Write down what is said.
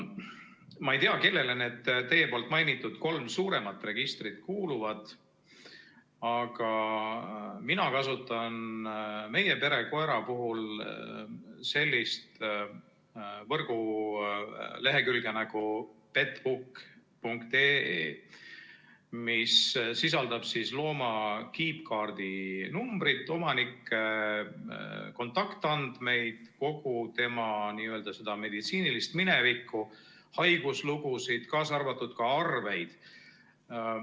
Ma ei tea, kellele need teie mainitud kolm suuremat registrit kuuluvad, aga mina kasutan meie pere koera puhul sellist võrgulehekülge nagu petbook.ee, mis sisaldab looma kiipkaardi numbrit, omanikke, kontaktandmeid, kogu tema n-ö meditsiinilist minevikku, haiguslugusid, kaasa arvatud arveid.